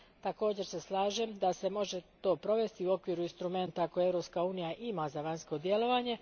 Također se slažem da se to može provesti u okviru instrumenta koji Europska unija ima za vanjsko djelovanje.